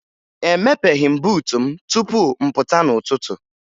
Emepeghi m buutu m tupu m pụta n'ụtụtụ